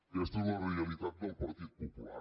aquesta és la realitat del partit popular